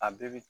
A bɛɛ bi